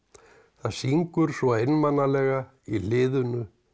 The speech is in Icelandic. það syngur svo einmanalega í hliðinu